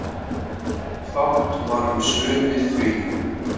Fátt var um svör við því.